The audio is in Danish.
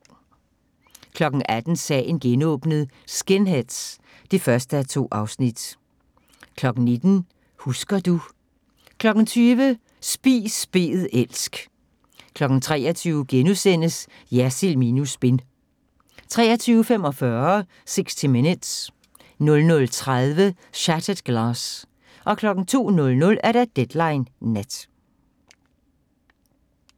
18:00: Sagen genåbnet: Skinheads (1:2) 19:00: Husker du ... 20:00: Spis bed elsk 23:00: Jersild minus spin * 23:45: 60 Minutes 00:30: Shattered Glass 02:00: Deadline Nat